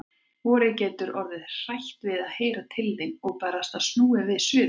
Vorið getur orðið hrætt við að heyra til þín. og barasta snúið við suður.